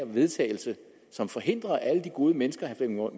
vedtagelse som forhindrer alle de gode mennesker